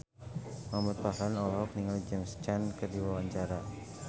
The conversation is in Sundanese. Muhamad Farhan olohok ningali James Caan keur diwawancara